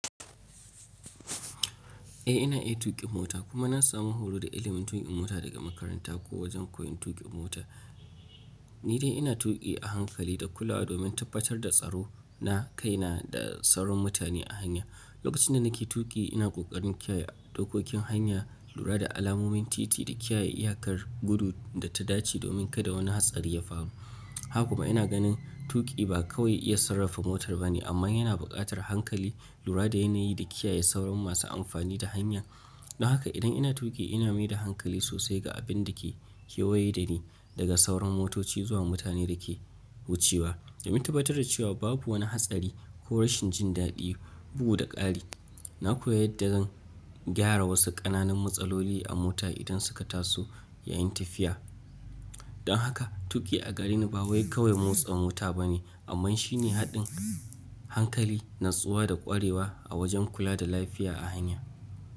Eh ina iya tuƙi mota kuma na samu horo da ilimin tuƙi mota daga makaranta ko wajen koyon tuƙi mota. Ni dai ina tuƙi a hankali da kula domin tabbatar da tsaro na kaina da tsaron mutane a hanya. Lokacin da nake tuƙi ina ƙoƙarin kiyaye dokokin hanya lura da alamomin titi da kiyaye iyakar gudu da ta dace domin kada wani hatsari ya faru. Haka kuma ina ganin tuƙi ba kawai iya sarrafa motar ba ne amma yana buƙatar hankali lura da yanayi da kiyaye sauran masu amfani da hanya. Don haka idan ina tuƙi ina maida hankali sosai ga abin da ke kewaye dani daga sauran motoci zuwa mutanen da ke wucewa domin tabbatar da cewa babu wani hatsari ko rashin jin daɗi bugu da ƙari. Na koya yadda zan gyara wasu ƙananan matsaloli a mota idan suka taso yayin tafiya. Don haka tuƙi a gareni ba wai kawai motsa mota ba ne amma shine haɗin hankali, natsuwa da ƙwarewa a wajen kula da lafiya a hanya.